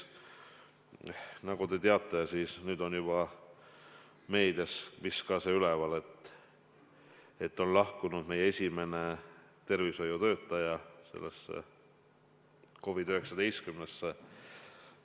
Nagu te teate, nüüd on see vist ka meedias üleval, et meil on juba üks tervishoiutöötaja COVID-19-sse surnud.